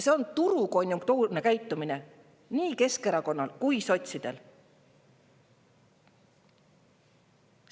See on turukonjunktuurne käitumine nii Keskerakonnal kui ka sotsidel.